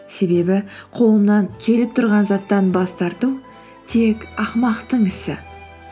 себебі қолымнан келіп тұрған заттан бас тарту тек ақымақтың ісі